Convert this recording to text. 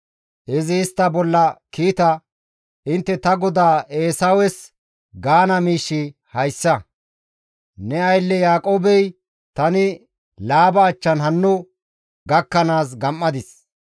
Izi istta bolla kiita, «Intte ta godaa Eesawes gaana miishshi hayssa; ‹Ne aylle Yaaqoobey, tani Laaba achchan hanno gakkanaas gam7adis.